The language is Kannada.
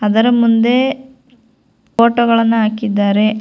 ಅದರ ಮುಂದೆ ಫೋಟೋ ಗಳನ್ನು ಹಾಕಿದ್ದಾರೆ.